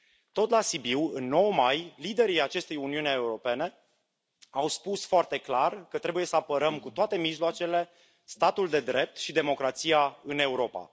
Tot la Sibiu, în 9 mai, liderii acestei Uniuni Europene au spus foarte clar că trebuie să apărăm cu toate mijloacele statul de drept și democrația în Europa.